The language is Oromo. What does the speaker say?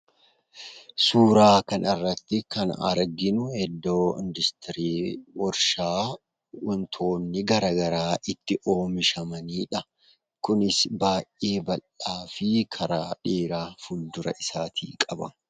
Suuraa kanarratti kan arginuu iddoo industirii warshaa wantoonni garaa garaa itti oomishamaniidha. Kunis baay'ee bal'aa fi karaa dheeraa fuuldura isaatii qaba.